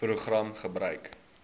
program gebruik